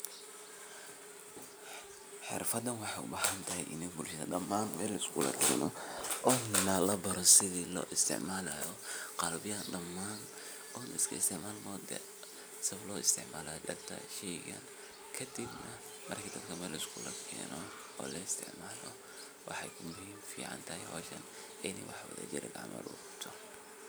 Xirfaddan waxay u baahan tahay in bulshada dhammaan meel la iskugu keeno oo la baro sidii loo isticmaali lahaa qalabkan dhammaan. oo iska isticmaal maat modaa? Sida loo isticmaalo way adag tahay in la sheego kaddib marka, meel la iskugu keeno oo la isticmaalo. Waxay muhiim u tahay hawshan in waax wadajir loo qabto